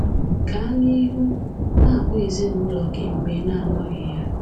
Gaa nihu na-akpọ ezinụụlọ gị mgbe ị na-anọghị ya.